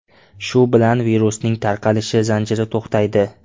Shu bilan virusning tarqalish zanjiri to‘xtaydi.